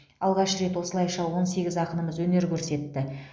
алғаш рет осылайша он сегіз ақынымыз өнер көрсетті